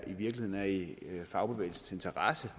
i virkeligheden er i fagbevægelsens interesse